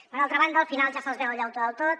per altra banda al final ja se’ls veu el llautó del tot